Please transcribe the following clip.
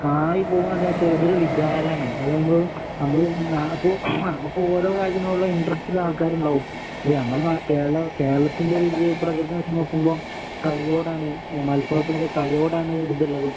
കായ് പോകാണേലും അത് ഒരു വികാരാണ് അത് നമ്മള് നമ്മള് അപ്പോ നമുക്ക് ഓരോ കാര്യത്തിനോടുള്ള ഇന്റെറസ്റ്റ് ഉള്ള ആൾക്കാര് ഉണ്ടാകും ഞമ്മടെ കേര കേരളത്തിന്റെ ഒരു ഇത് പ്രകൃതം വച്ച് നോക്കുമ്പോ കളികളോടാണ് മലപ്പുറത്തിനൊക്കെ കളിയോടാണു